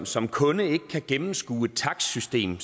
som kunde ikke kan gennemskue et takstsystem